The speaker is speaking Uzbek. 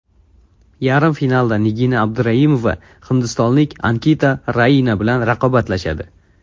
Yarim finalda Nigina Abduraimova hindistonlik Ankita Raina bilan raqobatlashadi.